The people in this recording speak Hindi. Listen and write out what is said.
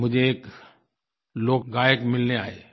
तो मुझे एक लोक गायक मिलने आए